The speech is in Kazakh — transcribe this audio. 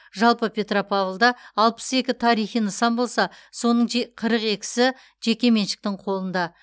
жалпы петропавлда алпыс екі тарихи нысан болса соның же қырық екісі жекеменшіктің қолында